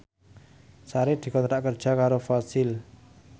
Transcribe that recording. Sri dikontrak kerja karo Fossil